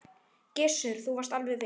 Gissur: Þú varst alveg viss?